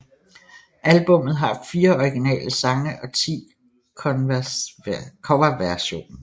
Albummet har fire originale sange og 10 coverversion